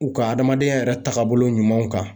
U ka adamadenya yɛrɛ taabolo ɲumanw kan.